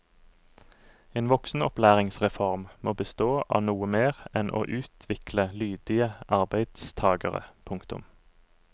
En voksenopplæringsreform må bestå av noe mer enn å utvikle lydige arbeidstagere. punktum